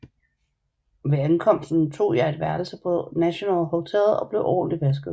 Ved ankomsten tog jeg et værelse på National Hotel og blev ordentligt vasket